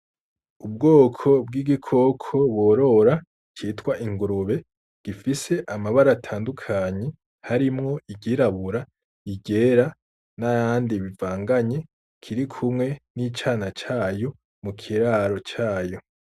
Ubwoko bw'igikoko borora citwa ingurube gifise amabara atandukanye harimwo iryirabura, iryera n'ayandi bivanganye kirikumwe n'icana cayo mu kiraro cayo.